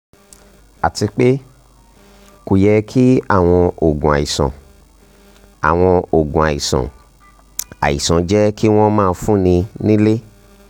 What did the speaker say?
àti pé kò yẹ kí àwọn oògùn àìsàn àwọn oògùn àìsàn àìsàn jẹ́ kí wọ́n máa fúnni nílé